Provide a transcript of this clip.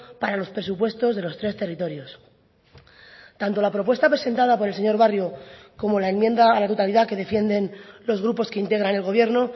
para los presupuestos de los tres territorios tanto la propuesta presentada por el señor barrio como la enmienda a la totalidad que defienden los grupos que integran el gobierno